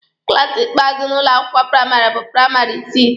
klaasi ikpeazụ n'ụlọ akwụkwọ praịmarị bụ praịmarị isii.